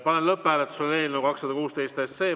Panen lõpphääletusele eelnõu 216.